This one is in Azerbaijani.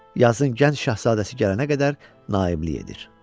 Yazın gənc şahzadəsi gələnə qədər naiblik edir.